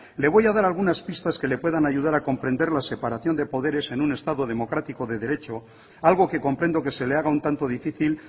le voy a dar algunas pistas que le puedan ayudar a comprender la separación de poderes en un estado democrático de derecho algo que comprendo que se le haga un tanto difícil